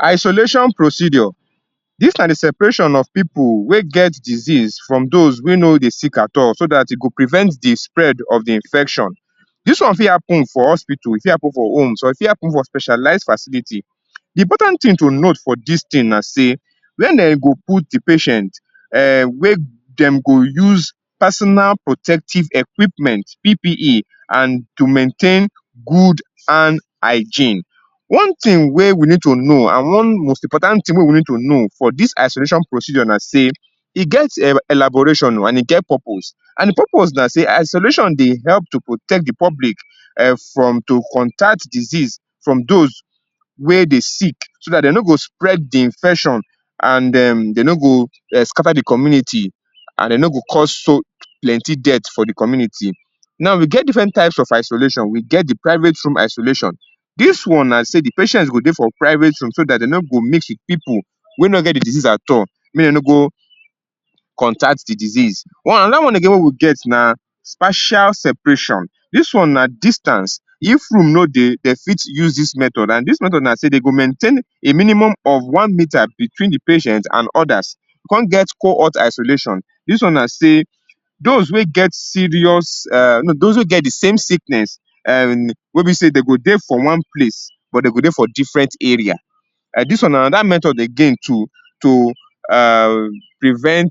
Isolation procedure. Dis na di separation of pipu wey get disease from dose wey no dey sick at all, so dat e go prevent di spread of di infection. Dis one fit happen for hospital, e fit happen for homes or e fit happen for specialise facility. Di important tin to note for dis tin na sey, where den go put di patient um wey dem go use Personal Protective Equipment, PPE and to maintain good and hygiene. One tin wey we need to know and one most important tin wey we need to know for dis isolation procedure na sey, e get elaboration o and e get purpose. And di purpose na sey, isolation dey help to protect di public, um from to contact disease from dose wey dey sick, so dat den no go spread di infection and um den no go um scatter di community and den no go cause so plenty death for di community. Now, we get different types of isolation, we get di private room isolation. Dis one na sey di patients go dey for private room so dat den no go mix wit pipu wey no get di disease at all, mey den no go contact di disease. One, anoda one again wey we get na partial separation. Dis one na distance, if room no dey den fit use dis method and dis method na sey den go maintain a minimum of one metre between di patient and odas. We kon get cohort isolation. Dis one na sey, those wey get serious um no, dose wey get di same sickness um wey be sey den go dey for one place but den go dey for different area. Um dis one na anoda metod again to to um prevent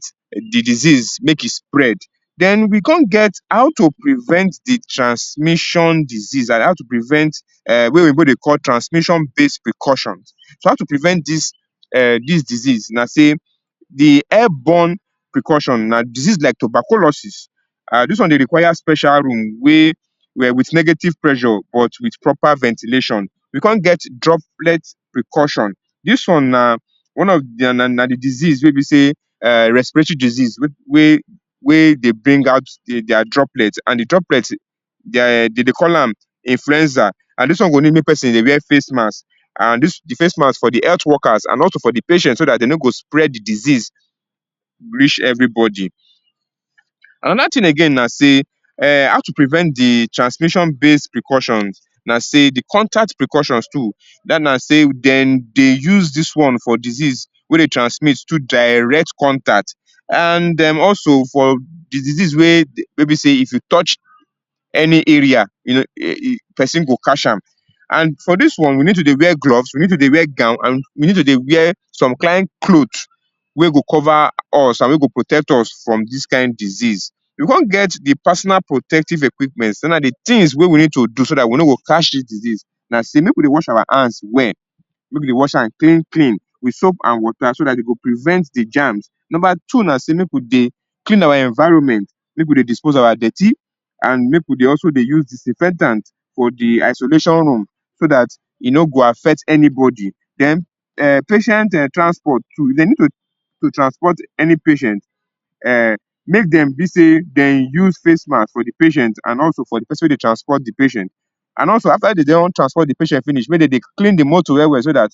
di disease make spread. Den, we kon get how to prevent di transmission disease, dat is how to prevent um wey oyinbo dey call transmission base precaution. So, how to prevent dis um dis disease na sey, di airborne precaution na disease like tuberculosis, um, dis one dey require special room wey um wit negative pressure but wit proper ventilation. We kon get droplet precaution. Dis one na one of di um na na di disease wey be sey um respiratory disease, wey wey dey bring out di dia droplet and di droplet dia um dem dey call am influenza, and dis one go need mek person dey wear face mask and dis di face mask for di health workers and also for di patient, so dat dem no go spread di disease reach everybody. Anoda tin again na sey, um how to prevent di transmission base precaution na sey di contact precautions too, dat na sey den dey use dis one for disease wey dey transmit through direct contact and um also for di disease wey de, wey be sey if you touch any area person go catch am. And for dis one we need to dey wear gloves, we need to dey wear gown and we need to dey wear some kind cloth wey go cover us and wey go protect us from dis kind disease. We kon get di personal protective equipment, sey na di tins wey we need to do so dat we no go catch dis disease na sey, mek we dey wash our hands well, mek we dey wash am clean clean, wit soap and water so dat e go prevent di germs. Number two na sey, mek we dey clean our environment, mek we dey dispose our dirty and mek we dey also dey use disinfectant for di isolation room, so dat e no go affect anybody. Den, um patient um transport too, if den need to to transport any patient um, mek den be sey dem use face mask for di patient and also for di person wey dey transport di patient. And also after dem don transport di patient finish mey dem dey clean di motor well well so dat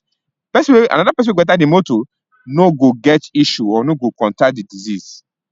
person wey, anoda person wey go enter di motor no go get issue or no go contact di disease.